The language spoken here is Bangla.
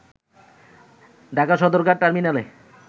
ঢাকার সদরঘাট টার্মিনালে